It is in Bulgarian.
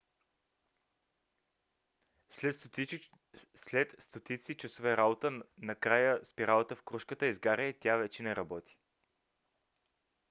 след стотици часове работа накрая спиралата в крушката изгаря и тя вече не работи